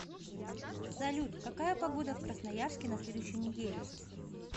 салют какая погода в красноярске на следующую неделю